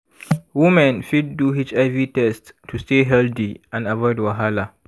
women fit do hiv test to stay healthy and avoid wahala.